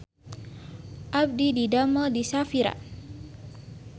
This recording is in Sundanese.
Abdi didamel di Shafira